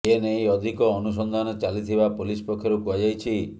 ଏ ନେଇ ଅଧିକ ଅନୁସନ୍ଧାନ ଚାଲିଥିବା ପୋଲିସ୍ ପକ୍ଷରୁ କୁହାଯାଇଛି